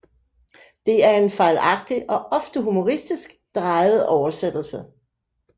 Det er en fejlagtig og ofte humoristisk drejet oversættelse